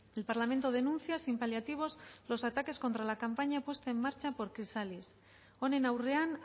el parlamento denuncia sin paliativos los ataques contra la campaña puesta en marcha por chrysallis honen aurrean